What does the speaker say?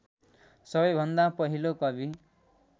सबैभन्दा पहिलो कवि।